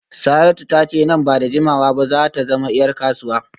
Saratu ta ce nan ba da jimawa ba za ta zama ‘yar kasuwa